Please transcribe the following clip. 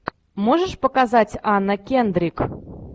можешь показать анна кендрик